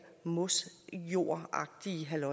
mossede jord